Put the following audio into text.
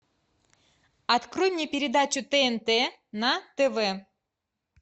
открой мне передачу тнт на тв